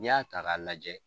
N'i y'a ta ka lajɛ